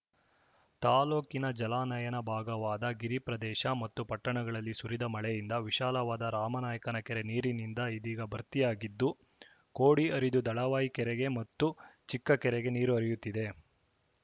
ತಾಲೂಕಿನ ಜಲಾನಯನ ಭಾಗವಾದ ಗಿರಿ ಪ್ರದೇಶ ಮತ್ತು ಪಟ್ಟಣಗಳಲ್ಲಿ ಸುರಿದ ಮಳೆಯಿಂದ ವಿಶಾಲವಾದ ರಾಮನಾಯ್ಕನ ಕೆರೆ ನೀರಿನಿಂದ ಇದೀಗ ಭರ್ತಿಯಾಗಿದ್ದು ಕೋಡಿ ಹರಿದು ದಳವಾಯಿ ಕೆರೆಗೆ ಮತ್ತು ಚಿಕ್ಕ ಕೆರೆಗೆ ನೀರು ಹರಿಯುತ್ತಿದೆ